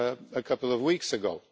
a couple of weeks ago.